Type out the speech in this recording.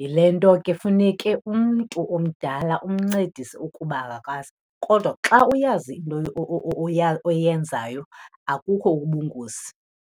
Yile nto ke funeke umntu omdala umncedise ukuba akakwazi kodwa xa uyazi into oyenzayo akukho ubungozi.